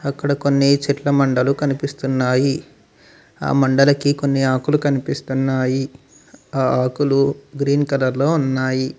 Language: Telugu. అక్కడ కొన్ని చెట్ల మండలు కనిపిస్తున్నాయి ఆ మండలకి కొన్ని ఆకులు కనిపిస్తున్నాయి ఆ ఆకులు గ్రీన్ కలర్ లో ఉన్నాయి.